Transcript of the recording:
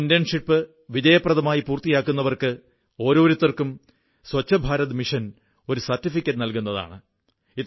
ഈ ഇന്റേൺഷിപ് വിജയപ്രദമായി പൂർത്തിയാക്കുന്നവർക്ക് ഓരോരുത്തർക്കും സ്വച്ഛഭാരത് മിഷൻ ഒരു സർട്ടിഫിക്കറ്റ് നല്കുന്നതാണ്